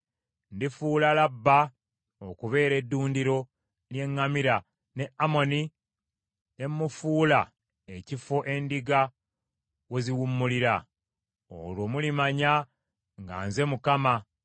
Ndifuula Labba okubeera eddundiro ly’eŋŋamira ne Amoni ne mufuula ekifo endiga we ziwummulira. Olwo mulimanya nga nze Mukama .